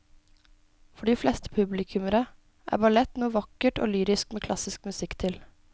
For de fleste publikummere er ballett noe vakkert og lyrisk med klassisk musikk til.